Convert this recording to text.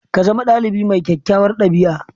Ka zama ɗalibi mai kyakkyawar ɗabi'a